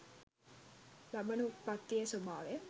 ලබන උත්පත්තියේ ස්වභාවය